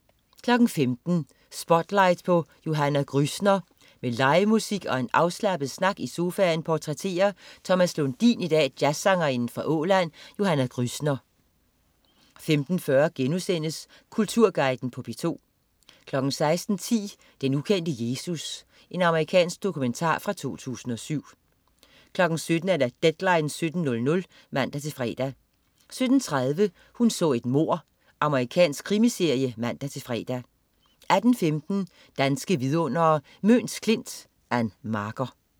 15.00 Spotlight på Johanna Grüssner. Med livemusik og en afslappet snak i sofaen portrætterer Thomas Lundin i dag jazzsangerinden fra Åland, Johanna Grüssner 15.40 Kulturguiden på DR2* 16.10 Den ukendte Jesus. Amerikansk dokumentar fra 2007 17.00 Deadline 17.00 (man-fre) 17.30 Hun så et mord. Amerikansk krimiserie (man-fre) 18.15 Danske Vidundere: Møns Klint. Ann Marker